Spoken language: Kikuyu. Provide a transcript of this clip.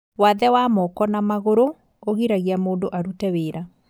Wathe wa Moko na magũrũ ũgiragia mũndũ arute wĩra